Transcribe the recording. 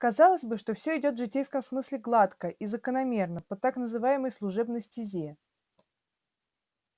казалось бы что всё идёт в житейском смысле гладко и закономерно по так называемой служебной стезе